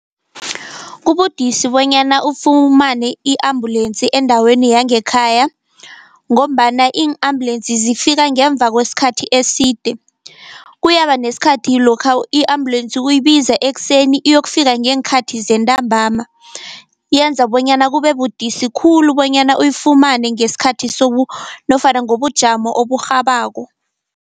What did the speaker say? Kubudisi bonyana ufumane i-ambulensi endaweni yangekhaya, ngombana iin-ambulensi zifika ngemva kwesikhathi eside. Kuyaba nesikhathi lokha i-ambulensi uyibiza ekuseni iyokufika ngeenkhathi zentambama, yenza bonyana kube budisi khulu bonyana uyifumane ngesikhathi nofana ngobujamo oburhabako.